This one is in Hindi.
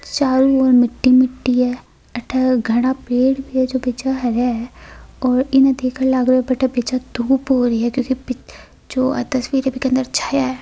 चारो और मिटी मिटी है अथे घाना पेड़ भी है जो हरे है और उन इ देखन लगे अथे घनी धुप है जो तस्वीर बीके अंदर छाया है।